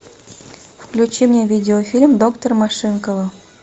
включи мне видеофильм доктор машинкова